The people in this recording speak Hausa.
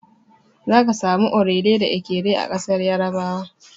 Zaka samu Orele da Ekere a ƙasar Yarabawa.